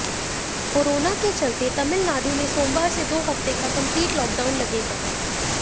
corona के चलते तमिलनाडु में सोमवार से दो हफ्ते का कंप्लीट लॉकडाउन लगेगा